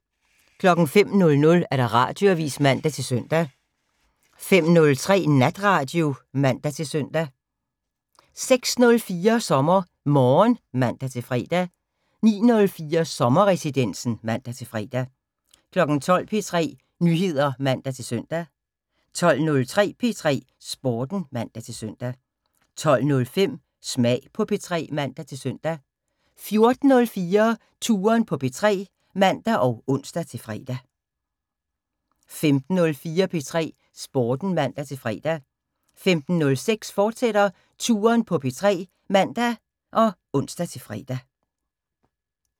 05:00: Radioavis (man-søn) 05:03: Natradio (man-søn) 06:04: SommerMorgen (man-fre) 09:04: Sommerresidensen (man-fre) 12:00: P3 Nyheder (man-søn) 12:03: P3 Sporten (man-søn) 12:05: Smag på P3 (man-søn) 14:04: Touren på P3 (man og ons-fre) 15:04: P3 Sporten (man-fre) 15:06: Touren på P3, fortsat (man og ons-fre)